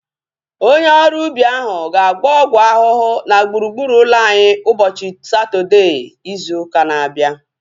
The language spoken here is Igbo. Onye ọrụ ubi ahu ga-agba ọgwụ ahụhụ na gburugburu ụlọ anyị ụbọchị Satọdee izu ụka na-abịa